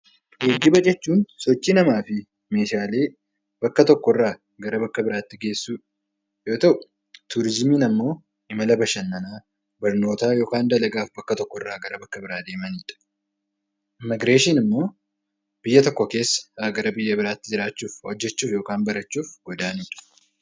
Geejjiba jechuun sochii namaa fi meeshaalee bakka tokkorraa gara bakka biraatti geessuu yoo ta'u, turizimiin immoo imala bashannanaa, barnootaa bakka tokkorraa bakka biraa deemanidha. Immiigireeshiniin immoo biyya tokko keessa jiraachuudhaaf yookaan hojjachuuf godaanuu jechuudha